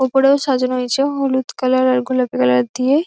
ওপরেও সাজানো হয়েছে হলুদ কালার আর গোলাপি কালার দিয়ে।